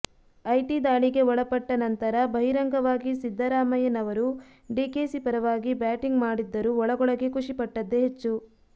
IT ದಾಳಿಗೆ ಒಳಪಟ್ಟ ನಂತರ ಬಹಿರಂಗವಾಗಿ ಸಿದ್ದರಾಮಯ್ಯನವರು ಡಿಕೆಶಿ ಪರವಾಗಿ ಬ್ಯಾಟಿಂಗ್ ಮಾಡಿದ್ದರೂ ಒಳಗೊಳಗೇ ಖುಷಿ ಪಟ್ಟದ್ದೇ ಹೆಚ್ಚು